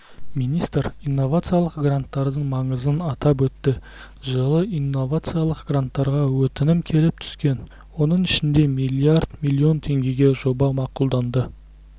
министр инновациялық гранттардың маңызын атап өтті жылы инновациялық гранттарға өтінім келіп түскен оның ішінде миллиард миллион теңгеге жоба мақұлданды